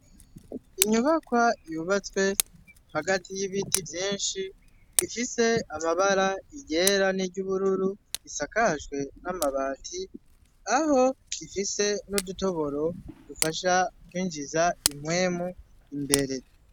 Inyubakwa yubatswe hagati y'ibiti vyinshi ifise amabara iryera n'iry'ubururu isakajwe n'amabati aho ifise nudutoboro dufasha kwinjiza impwemu imbere.